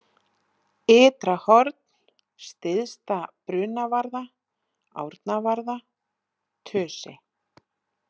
Ytrahorn, Syðsta-Brunavarða, Árnavarða, Tusi